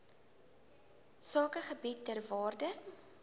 sakegebiede ter waarde